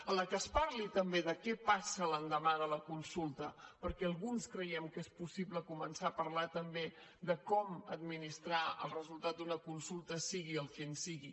en la qual es parli també de què passa l’endemà de la consulta perquè alguns creiem que és possible començar a parlar també de com administrar el resultat d’una consulta sigui quin sigui